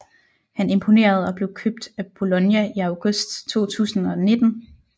Han imponerede og blev købt af Bologna i august 2019